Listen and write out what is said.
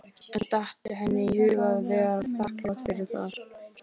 En datt henni í hug að vera þakklát fyrir það?